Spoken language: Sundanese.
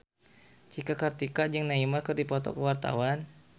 Cika Kartika jeung Neymar keur dipoto ku wartawan